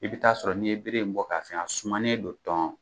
I bɛ taa sɔrɔ n'i ye bere in bɔ k'a fiyan, a sumanen don tɔn.